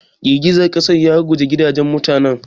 Girgizar ƙasar ya ruguza gidajen mutanen.